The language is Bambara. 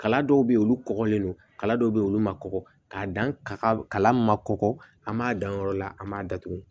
Kala dɔw bɛ ye olu kɔgɔlen don kala dɔw bɛ yen olu ma kɔgɔ k'a dan ka kala ma kɔgɔ an b'a dan o yɔrɔ la an b'a datugu